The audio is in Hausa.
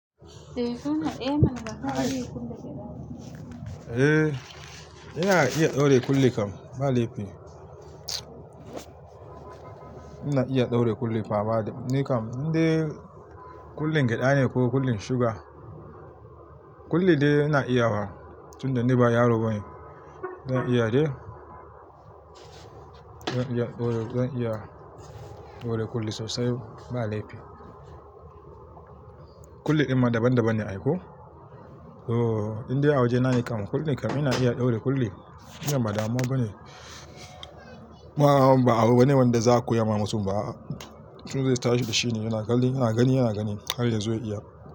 Eh, ina iya ɗaure kulle kam ba laifi. Ina iya ɗaure kulle fa bada. Ni kam, inda kullin gyaɗa ne ko kullin suga, kulli dai ina iyawa. Tun da ni ba yaro bane, zan iya de. Zan iya ɗaure, zan iya ɗaure kulli sosai ba laifi. Kulli amma daban daban ne aiko. Oh, inde a waje nayi kam. Kulle kam ina iya ɗaure kulle. Wannan bada muwa ba ne. Mawa ba wani wanda za a koya ma mutum ba Mutum zai tashi da shi ne yana gani, yana gani, yana gani har ya zo ya iya.